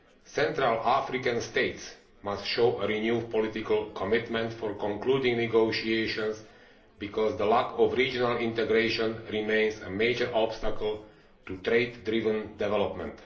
Central African states must show a renewed political commitment to concluding negotiations, because the lack of regional integration remains a major obstacle to trade driven development.